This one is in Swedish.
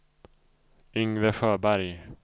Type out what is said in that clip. Yngve Sjöberg